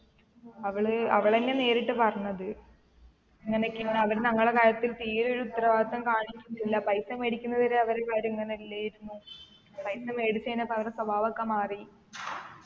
അവൾ അവളെന്നെ നേരിട്ട് പറഞ്ഞത് ഇങ്ങനെയൊക്കെയാണ് അവർ ഞങ്ങളെ കാര്യത്തിൽ തീരെ ഒരു ഉത്തരവാദിത്തം കാണിക്കുന്നില്ല പൈസ മേടിക്കുന്നത് വരെ അവരെ കാര്യം ഇങ്ങനെ അല്ലെയിരുന്നു പൈസ മേടിച്ചേനപ്പൊ അവരെ സ്വഭാവ ഒക്കെ മാറി